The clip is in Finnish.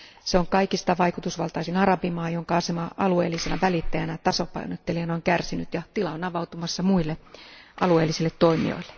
Se on kaikista vaikutusvaltaisin arabimaa, jonka asema alueellisena välittäjänä ja tasapainottelijana on kärsinyt, ja tila on avautumassa muille alueellisille toimijoille.